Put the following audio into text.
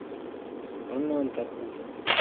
анантапур